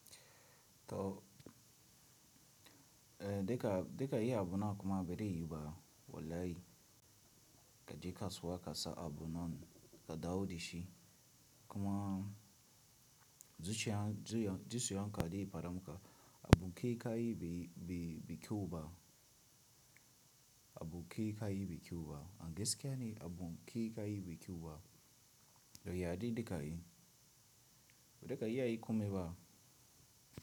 To, eh duka, duka yi abu na kuma bade yuba. Wallahi ka je kasuwa ka sa abu nan ka dawo da shi. Kuma zuciya, zuciya, zuciyanka dai faɗam ka, abu kai ka yi bai, bai, bai kyau ba. Abu kai ka yi bai kyau ba. An gaskiya ne, abu kai ka yi bai kyau ba. Da yaɗi dika yi. Da ka iya yi kome ba.